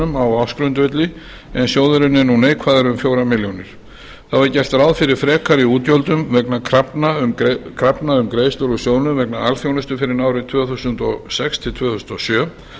á ársgrundvelli en sjóðurinn er nú neikvæður um fjórar milljónir þá er gert ráð fyrir frekari útgjöldum vegna krafna um greiðslur úr sjóðnum vegna alþjónustu fyrr en árið tvö þúsund og sex til tvö þúsund og sjö